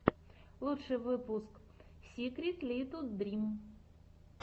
лучший выпуск сикритлитудрим